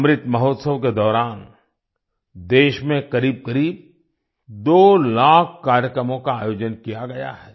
अमृत महोत्सव के दौरान देश में करीबकरीब दो लाख कार्यक्रमों का आयोजन किया गया है